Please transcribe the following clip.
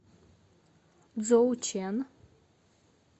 цзоучэн